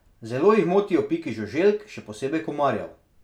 Zelo jih motijo piki žuželk, še posebej komarjev.